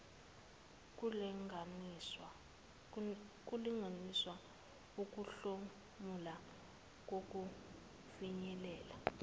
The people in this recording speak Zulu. kulinganiswe ukuhlomula nokufinyelela